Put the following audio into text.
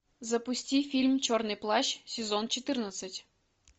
запусти фильм черный плащ сезон четырнадцать